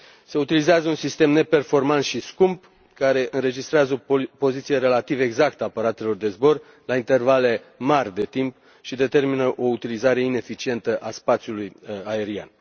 Se utilizează un sistem neperformant și scump care înregistrează o poziție relativ exactă a aparatelor de zbor la intervale mari de timp și determină o utilizare ineficientă a spațiului aerian.